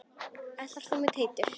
Ætlar þú með mér Teitur!